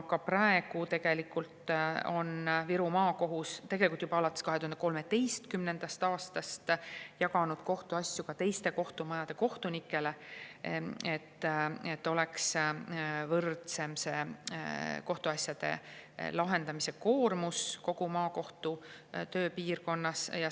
Viru Maakohus on tegelikult juba alates 2013. aastast jaganud kohtuasju ka teiste kohtumajade kohtunikele, et kohtuasjade lahendamise koormus kogu maakohtu tööpiirkonnas oleks võrdsem.